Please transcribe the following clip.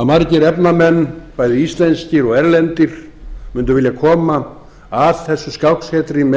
að margir efnamenn bæði íslenskir og erlendir mundu vilja koma að þessu skáksetri með